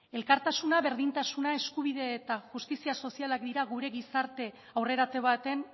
elkartasuna berdintasuna eskubidea eta justizia sozialak dira gure